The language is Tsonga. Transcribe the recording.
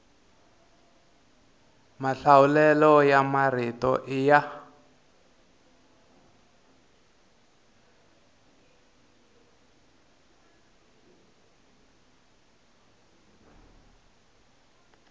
mahlawulelo ya marito i ya